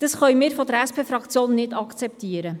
Dies können wir seitens der SP-Fraktion nicht akzeptieren.